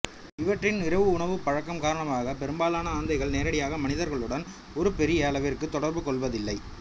இவற்றின் இரவு உணவுப் பழக்கம் காரணமாக பெரும்பாலான ஆந்தைகள் நேரடியாக மனிதர்களுடன் ஒரு பெரிய அளவிற்கு தொடர்பு கொள்வதில்லை